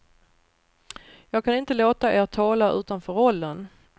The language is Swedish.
Jag kan inte låta er tala utanför rollen.